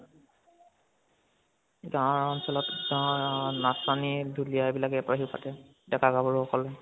গাওঁৰ অঞ্চল গাওঁৰ নাচনি ঢোলিয়া বিলাকে বিহু পাতে। ডেকা গাভৰু সকলোয়ে